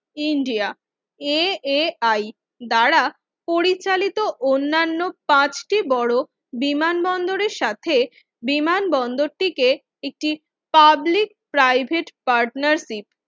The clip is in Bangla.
ইন্ডিয়া AAI দ্বারা পরিচালিত অন্যান্য পাঁচটি বড় বিমানবন্দরের সাথে বিমানবন্দরটিকে একটি পাবলিক প্রাইভেট পার্টনারশিপ